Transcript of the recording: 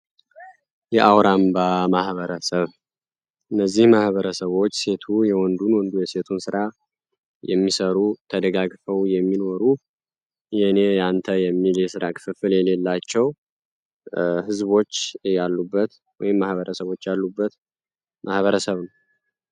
የአውራምባ ማህበረሰብ እነዚህ ማህበረሰቦች ሴቱ የወንዱን ወንዱ የሴቱ ስራ የሚሠሩ ተደጋግፈው የሚኖሩ የኔ ያአንተ የሚል የስራ ክፍፍል የሌላቸው ህዝቦች ያሉበት ወይም ማህበረሰቦች ያሉበት ማህበረሰብ ነው።